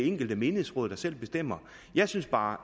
enkelte menighedsråd der selv bestemmer jeg synes bare